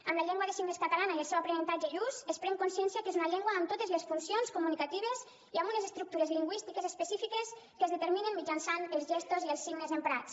amb la llengua de signes catalana i el seu aprenentatge i ús es pren consciència que és una llengua amb totes les funcions comunicatives i amb unes estructures lingüístiques específiques que es determinen mitjançant els gestos i els signes emprats